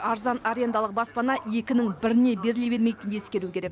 арзан арендалық баспана екінің біріне беріле бермейтінін ескеру керек